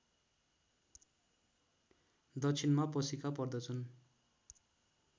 दक्षिणमा पशिका पर्दछन्